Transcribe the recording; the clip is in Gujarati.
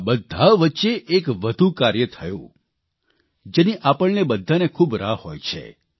આ બધા વચ્ચે એક વધુ કાર્ય થયું જેની આપણને બધાને ખૂબ રાહ હોય છે